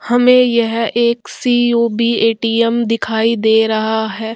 हमें यह एक सी.ओ.बी. ए.टी.एम. दिखाई दे रहा है।